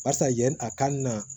Barisa yanni a ka na